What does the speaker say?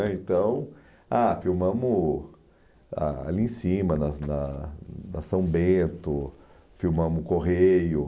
é Então ah filmamos ali em cima, nas na na São Bento, filmamos o Correio.